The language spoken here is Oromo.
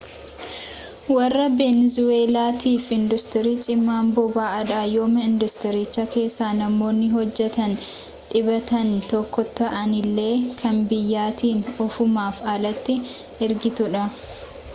warra benezuweellaatiif induustirii cimaan boba'aadha yooma induustiricha keessaa namoonni hojjetan dhibbeentaan tokko ta'anillee kan biyyattiin ofumaaf alatti ergitudha